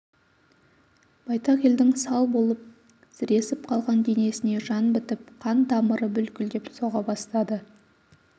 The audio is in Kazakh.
байтақ елдің сал болып сіресіп қалған денесіне жан бітіп қан тамыры бүлкілдеп соға бастады